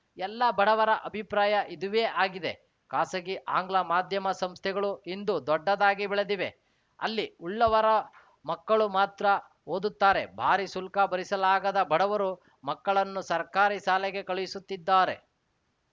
ಎಲ್ಲ ಬಡವರ ಅಭಿಪ್ರಾಯ ಇದುವೇ ಆಗಿದೆ ಖಾಸಗಿ ಆಂಗ್ಲ ಮಾಧ್ಯಮ ಸಂಸ್ಥೆಗಳು ಇಂದು ದೊಡ್ಡದಾಗಿ ಬೆಳೆದಿವೆ ಅಲ್ಲಿ ಉಳ್ಳವರ ಮಕ್ಕಳು ಮಾತ್ರ ಓದುತ್ತಾರೆ ಭಾರೀ ಶುಲ್ಕ ಭರಿಸಲಾಗದ ಬಡವರು ಮಕ್ಕಳನ್ನು ಸರ್ಕಾರಿ ಶಾಲೆಗೆ ಕಳುಹಿಸುತ್ತಿದ್ದಾರೆ